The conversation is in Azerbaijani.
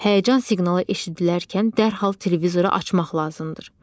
Həyəcan siqnalı eşidilərkən dərhal televizoru açmaq lazımdır.